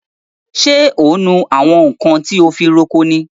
So ń nu àwọn nkan ti a fi ń roko ni?